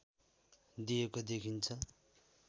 दिएको देखिन्छ